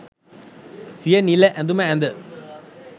සිය නිල ඇඳුම ඇඳ